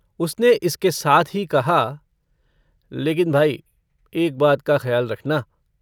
उसने इसके साथ ही कहा - लेकिन भाई एक बात का खयाल रखना।